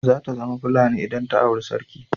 Zata zama Fulani idan ta auri sarki.